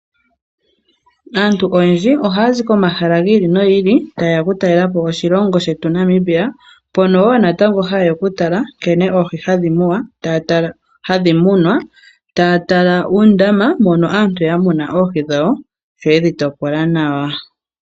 Aantu oyendji ohaya zi komahala giili nogiili tayeya oku talelapo oshilongo shetu Namibia, mpono woo natango hayeya okutala nkene oohi hadhi munwa taya tala uundama mono aantu ya muna oohi dhawo sho yedhi topola nawa.